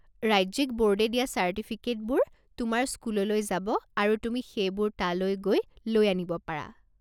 ৰাজ্যিক বৰ্ডে দিয়া চাৰ্টিফিকেটবোৰ তোমাৰ স্কুললৈ যাব আৰু তুমি সেইবোৰ তালৈ গৈ লৈ আনিব পাৰা।